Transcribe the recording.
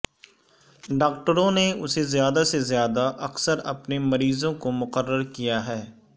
ڈاکٹروں نے اسے زیادہ سے زیادہ اکثر اپنے مریضوں کو مقرر کیا ہے